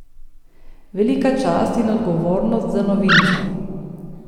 Velika čast in odgovornost za novinca.